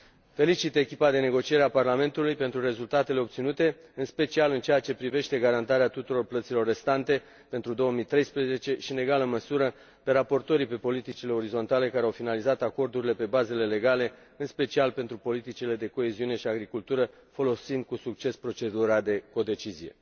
Felicit echipa de negociere a Parlamentului pentru rezultatele obținute, în special în ceea ce privește garantarea tuturor plăților restante pentru 2013 și, în egală măsură, pe raportorii pe politicile orizontale, care au finalizat acordurile pe bazele legale, în special pentru politicile de coeziune și agricultură, folosind cu succes procedura de codecizie.